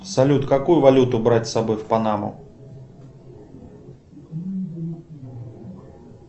салют какую валюту брать с собой в панаму